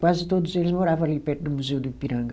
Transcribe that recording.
Quase todos eles moravam ali perto do Museu do Ipiranga.